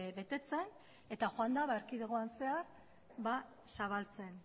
betetzen eta joan da erkidegoan zehar zabaltzen